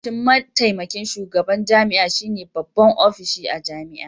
Ofishin mataimakin shugaban jami'a shine babban ofishi a jami'a